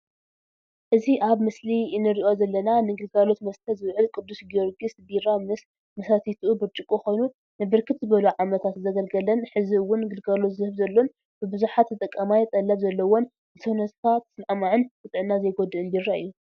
እዚ ኣብ ምስሊ እንሪኦ ዘለና ንግልጋሎት መስተ ዝውዕል ቅዱስ ጊዮርጊስ ቢራ ምስ መሳተይኡ ብጭርቆ ኮይኑ ንብርክት ዝበሉ ዓመታት ዘገልገለን ሕዚ እውን ግልጋሎት ዝህብ ዘሎን ብብዙሕ ተጠቃማይ ጠለብ ዘለዎን ንሰውነትካ ተስማዕማዕን ንጥዕና ዘይጎድእን ቢራ እዩ።